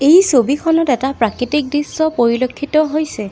এই ছবিখনত এটা প্ৰাকৃতিক দৃশ্য পৰিলক্ষিত হৈছে।